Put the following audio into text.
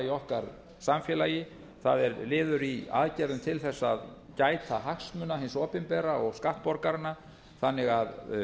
okkar samfélagi það er liður í aðgerðum til þess að gæta hagsmuna hins opinbera og skattborgaranna þannig að